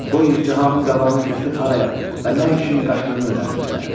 Qoy izdihamın qabağını kəsib haraya və nə üçün qaçdığını öyrənsinlər.